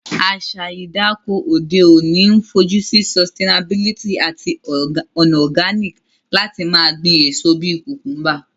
Àsa ìdáko òde ọ̀ní n fojusí sustianabilty àtí ònà organic lati ma gbín èso bi cucumber